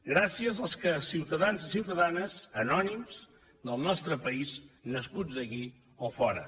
gràcies als ciutadans i ciutadanes anònims del nostre país nascuts aquí o fora